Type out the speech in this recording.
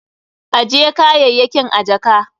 Ajje kayayyakin a jaka.